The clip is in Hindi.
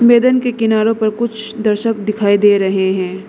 मैदान के किनारो पर कुछ दर्शक दिखाई दे रहे हैं।